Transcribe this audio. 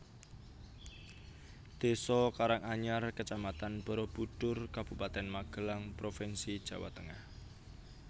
Désa Karanganyar Kecamatan Barabudhur Kabupaten Magelang provinsi Jawa Tengah